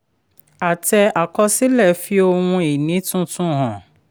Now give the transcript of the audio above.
àtẹ àkọsílẹ̀ fi ohun ìní tuntun hàn.